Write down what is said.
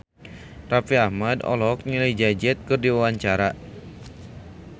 Raffi Ahmad olohok ningali Jay Z keur diwawancara